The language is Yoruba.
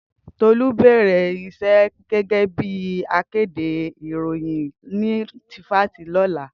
Tolu á bèrè íṣè gègè bi àkédé iróyin ni tìfisí lòlá